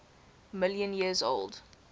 million years old